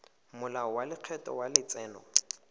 molao wa lekgetho wa letseno